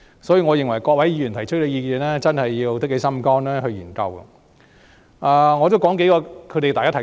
所以，我認為對於各位議員提出的意見，政府真的要下定決心去研究。